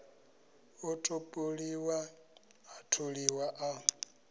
a topoliwa a tholiwa a